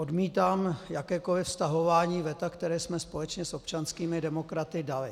Odmítám jakékoliv stahování veta, které jsme společně s občanskými demokraty dali.